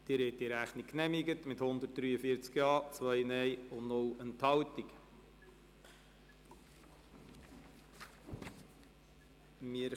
Sie haben die Rechnung mit 143 Ja- gegen 2 Nein-Stimmen bei 0 Enthaltungen genehmigt.